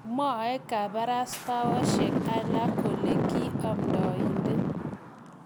mwoe kabarastaosiek alak kole ki amdainde